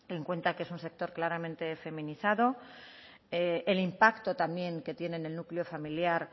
en cuenta que es un sector claramente feminizado el impacto también que tiene en el núcleo familiar